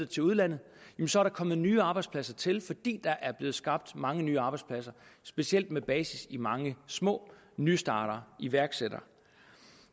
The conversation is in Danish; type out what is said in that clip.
til udlandet så kom der nye arbejdspladser til fordi der blev skabt mange nye arbejdspladser specielt med basis i mange små nystartere iværksættere